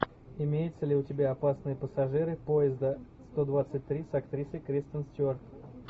имеется ли у тебя опасные пассажиры поезда сто двадцать три с актрисой кристен стюарт